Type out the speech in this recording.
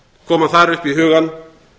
koma þar upp í hugann